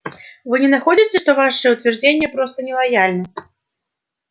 вы не находите что ваше утверждение просто нелояльно